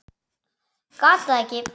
Gat það ekki.